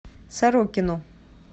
сорокину